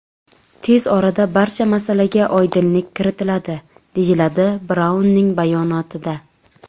Tez orada barcha masalaga oydinlik kiritiladi”, deyiladi Braunning bayonotida.